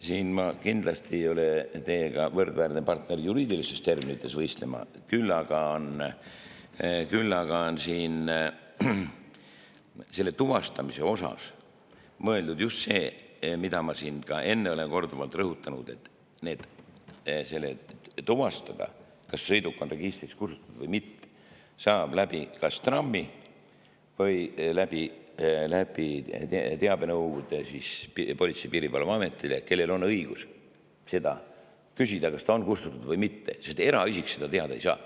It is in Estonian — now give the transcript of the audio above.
Siin ma kindlasti ei ole teile võrdväärne partner juriidilistes terminites võistlema, küll aga on siin selle tuvastamise all mõeldud just seda, mida ma ka enne olen korduvalt rõhutanud, et tuvastada, kas sõiduk on registrist kustutatud või mitte, saab kas TRAM‑i kaudu või teabenõudega Politsei‑ ja Piirivalveametile, kellel on õigus seda küsida, kas ta on kustutatud või mitte, sest eraisik seda teada ei saa.